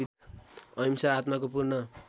अहिंसा आत्माको पूर्ण